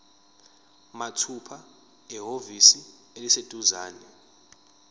mathupha ehhovisi eliseduzane